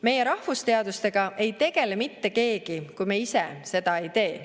Meie rahvusteadustega ei tegele mitte keegi, kui me ise seda ei tee.